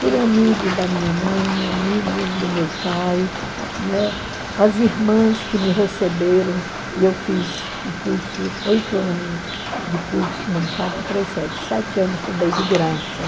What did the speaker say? por amigos da minha mãe, amigos do meu pai, as irmãs que me receberam, e eu fiz o curso, oito anos de curso, não, quatro, três, sete, sete anos estudei de graça.